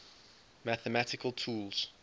mathematical tools